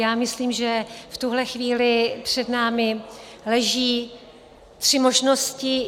Já myslím, že v tuhle chvíli před námi leží tři možnosti.